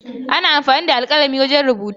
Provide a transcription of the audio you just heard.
Ana amfani da alkalami wajen rubutu.